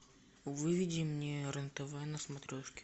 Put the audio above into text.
выведи мне рен тв на смотрешке